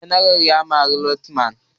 General ya mari lieutenant